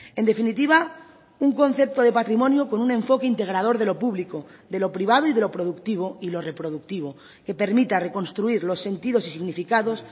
en definitiva un concepto de patrimonio con un enfoque integrador de lo público de lo privado y de lo productivo y lo reproductivo que permita reconstruir los sentidos y significados